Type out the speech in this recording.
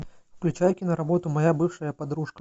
включай киноработу моя бывшая подружка